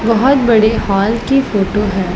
बहुत बड़े हॉल की फोटो है।